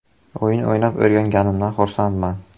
“O‘yin o‘ynab o‘rganganimdan xursandman.